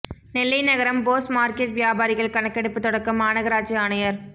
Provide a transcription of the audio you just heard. நெல்லை நகரம் போஸ் மாா்க்கெட் வியாபாரிகள் கணக்கெடுப்பு தொடக்கம் மாநகராட்சி ஆணையா்